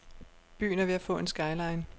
Byen er ved at få en skyline.